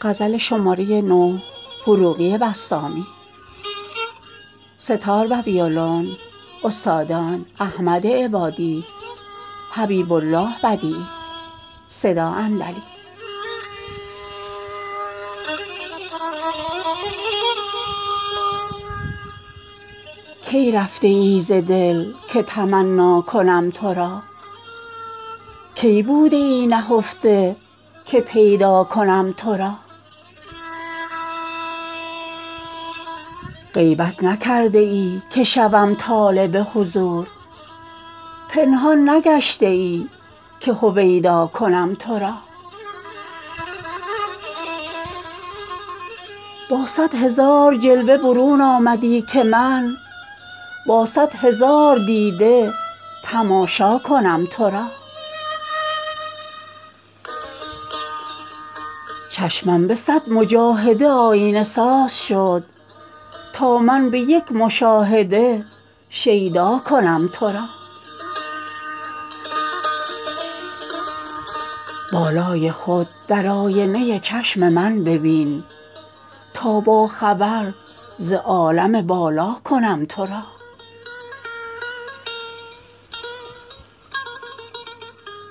کی رفته ای ز دل که تمنا کنم تو را کی بوده ای نهفته که پیدا کنم تو را غیبت نکرده ای که شوم طالب حضور پنهان نگشته ای که هویدا کنم تو را با صد هزار جلوه برون آمدی که من با صد هزار دیده تماشا کنم تو را چشمم به صد مجاهده آیینه ساز شد تا من به یک مشاهده شیدا کنم تو را بالای خود در آینه چشم من ببین تا با خبر ز عالم بالا کنم تو را